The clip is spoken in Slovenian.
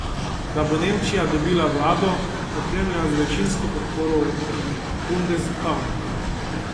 Da bo Nemčija dobila vlado, opremljeno z večinsko podporo v bundestagu.